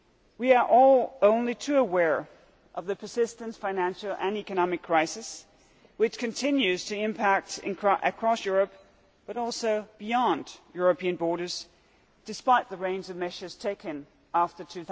We are all only too well aware of the persistent financial and economic crisis which continues to impact across Europe, and also beyond European borders, despite the reins applied and measures taken after